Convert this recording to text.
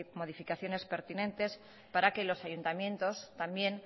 modificaciones pertinentes para que los ayuntamientos también